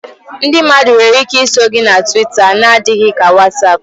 Ndị mmadụ nwere ike iso gị na Twita n'adịghị ka WhatsApp